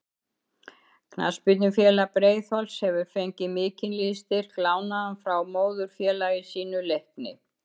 Knattspyrnufélag Breiðholts hefur fengið mikinn liðsstyrk lánaðan frá móðurfélagi sínu Leikni.